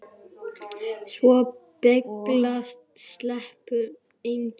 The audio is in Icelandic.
Svo billega sleppur enginn.